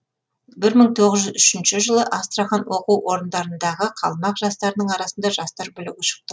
бір мың тоғыз жүз үшінші жылы астрахань оқу орындарындағы қалмақ жастарының арасында жастар бүлігі шықты